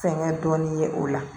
Fɛnkɛ dɔɔnin ye o la